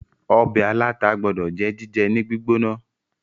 ọbẹ̀ aláta gbódò jẹ́ jíjẹ ní gbígbóná